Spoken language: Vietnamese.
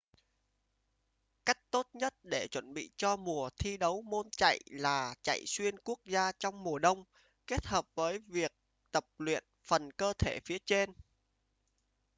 cách tốt nhất để chuẩn bị cho mùa thi đấu môn chạy là chạy xuyên quốc gia trong mùa đông kết hợp với tập luyện phần cơ thể phía trên